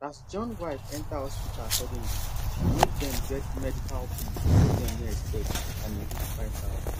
as johns wife enter hospital suddenly e make dem get medical bill wey dem no expect and e reach 5000